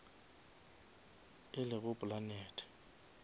e lego planete